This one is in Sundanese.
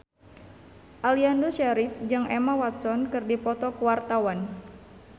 Aliando Syarif jeung Emma Watson keur dipoto ku wartawan